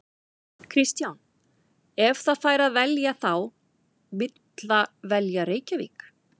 Kristján: Ef það fær að velja þá vill það velja Reykjavík?